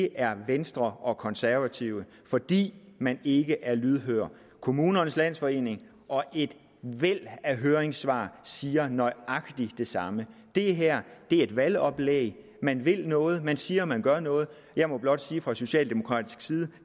er venstre og konservative fordi man ikke er lydhør kommunernes landsforening og et væld af høringssvar siger nøjagtig det samme det her er et valgoplæg man vil noget og man siger man gør noget jeg må blot sige fra socialdemokratisk side at